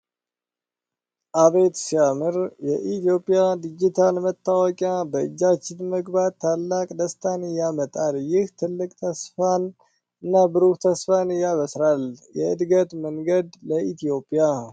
አቤት ሲያምር! የኢትዮጵያ ዲጂታል መታወቂያ በእጃችን መግባት ታላቅ ደስታን ያመጣል። ይህ ትልቅ ተስፋን እና ብሩህ ተስፋን ያበስራል። የእድገት መንገድ ለኢትዮጵያ